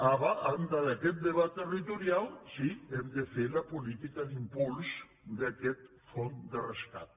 a banda d’aquest debat territorial sí hem de fer la política d’impuls d’aquest fons de rescat